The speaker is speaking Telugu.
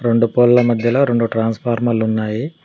రొండు పోల్ల మధ్యలో రొండు ట్రాన్స్ఫార్మర్లు ఉన్నాయి